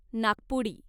नाकपुडी